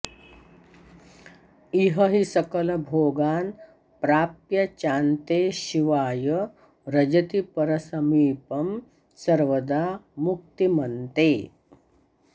इह हि सकलभोगान् प्राप्य चान्ते शिवाय व्रजति परसमीपं सर्वदा मुक्तिमन्ते